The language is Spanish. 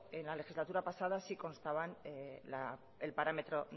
en la legislatura pasada sí constaba el parámetro